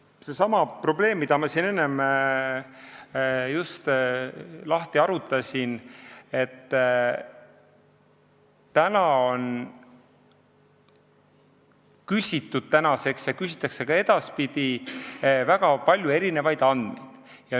See on seesama probleem, mida ma siin enne seletasin, et on küsitud ja ka edaspidi küsitakse väga palju erinevaid andmeid.